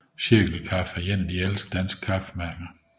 Cirkel Kaffe er et af de ældste danske kaffemærker